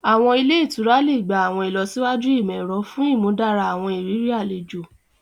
Àwọn ilẹ́ ìtura le gba àwọn ìlọsíwájú imọ-ẹrọ fun ìmúdára àwọn ìrírí àlejò